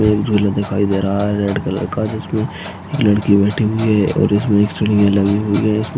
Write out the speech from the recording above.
इसमे एक झूला दिखाई दे रहा है रेड कलर का जिसमे एक लड़की बैठी हुई है और इसमे एक लगी हुई हैं।